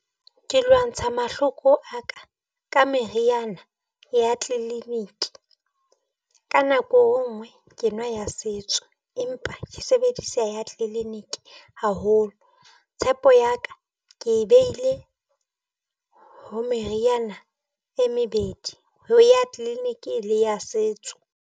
Ke lwantsha mahloko a ka ka meriana ya tleliniki ka nako e nngwe ke nwa ya setso, empa ke sebedisa ya tleniki haholo. Tshepo ya ka ke behile ho meriana e mebedi ho ya clinic-e le ya setso.